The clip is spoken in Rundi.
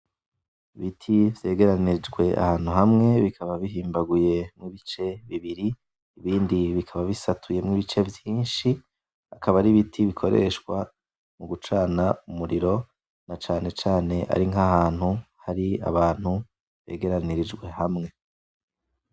Ibiti vyegeranijwe ahantu hamwe bikaba bihimbaguye mu bice bibiri , ibindi bikaba bisatuyemwo ibice vyinshi, akaba ari ibiti bikoreshwa mugucana umuriro na cane cane iyo ari nkahantu hari abantu begeranirijwe hamwe.